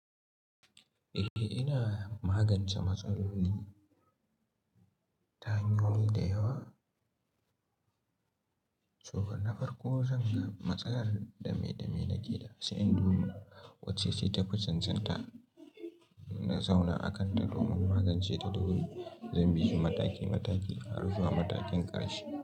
Eh ina magance matsaloli, tahanyoyi da yawa. So na farko zan ga matsalar dame dame nake da sai, in duba wacce ce ta fi cancanta, na zauna a kan ta domin magance ta. Eh zan bi shi mataki mataki, har zuwa matakin ƙarshe.